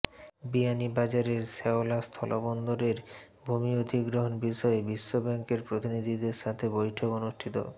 বিয়ানীবাজারের শেওলা স্থলবন্দরের ভূমি অধিগ্রহণ বিষয়ে বিশ্বব্যাংকের প্রতিনিধিদের সাথে বৈঠক অনুষ্ঠিত